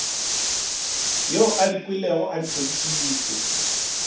yo a dikilwego a hlokišitšwe